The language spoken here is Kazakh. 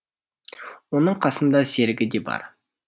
оның қасында серігі де бар